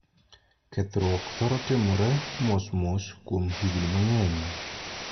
Kethruokni thoro timore mos mos kuom higni mang'eny.